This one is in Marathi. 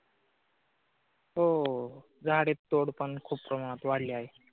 हो. झाडे तोडकाम खूप प्रमाणात वाढले आहे.